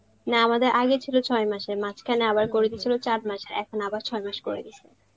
না আমাদের আগে ছিল ছয় মাসের, মাঝখানে আবার করে দিয়েছিল চার মাসের এখন আবার ছয় মাস করে দিয়েছে